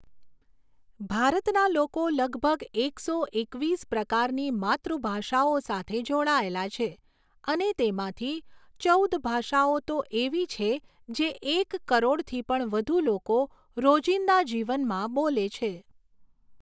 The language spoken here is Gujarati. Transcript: ભારતના લોકો લગભગ એકસો એકવીસ પ્રકારની માતૃભાષાઓ સાથે જોડાયેલા છે અને તેમાંથી ચૌદ ભાષાઓ તો એવી છે જે એક કરોડથી પણ વધુ લોકો રોજિંદા જીવનમાં બોલે છે.